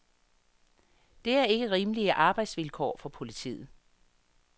Det er ikke rimelige arbejdsvilkår for politiet.